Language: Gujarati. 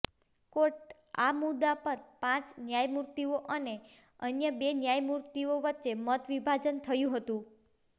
કોર્ટ આ મુદ્દા પર પાંચ ન્યાયમુર્તિઓ અને અન્ય બે ન્યાયમુર્તિઓ વચ્ચે મત વિભાજન થયું હતું